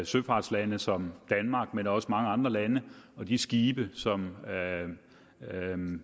søfartsland som danmark men også mange andre lande og de skibe som